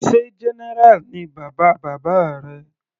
Sé general ni bàbá bàbá rẹ.